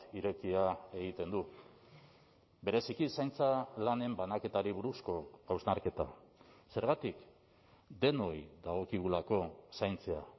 irekia egiten du bereziki zaintza lanen banaketari buruzko hausnarketa zergatik denoi dagokigulako zaintzea